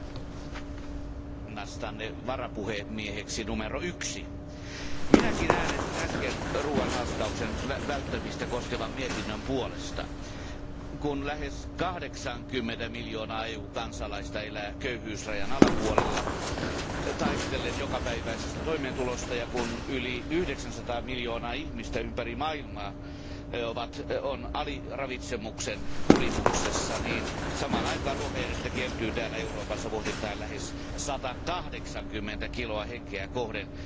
Arvoisa puhemies, ...valinnastanne varapuhemieheksi numero yksi. Minäkin äänestin äsken ruoanhaaskauksen välttämistä koskevan mietinnön puolesta. Kun lähes 80 miljoonaa EU kansalaista elää köyhyysrajan alapuolella taistellen jokapäiväisestä toimeentulosta ja kun yli 900 miljoonaa ihmistä ympäri maailmaa on aliravitsemuksen kurimuksessa, niin samaan aikaan ruokajätettä kertyy täällä Euroopassa vuosittain lähes 180 kiloa henkeä kohden.